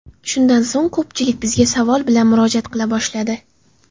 Shundan so‘ng ko‘pchilik bizga savol bilan murojaat qila boshladi.